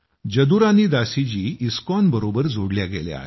जदुरानी दासी जी इस्कॉनबरोबर जोडल्या गेल्या आहेत